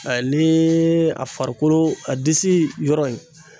Ali ni a farikolo, a disi yɔrɔ in.